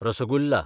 rasgulla